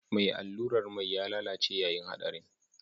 Mai allurar mai ya lalace yayin haɗarin